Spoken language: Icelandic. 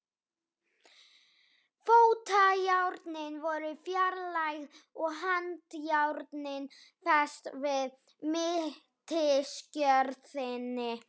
Fótajárnin voru fjarlægð og handjárnin fest við mittisgjörðina.